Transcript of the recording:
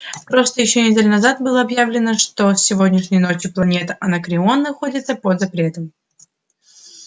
просто ещё неделю назад было объявлено что с сегодняшней ночи планета анакреон находится под запретом